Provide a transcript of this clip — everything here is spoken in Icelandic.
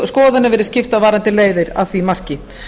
skoðanir verið skiptar varðandi leiðir að því marki